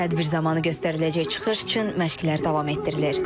Tədbir zamanı göstəriləcək çıxış üçün məşqlər davam etdirilir.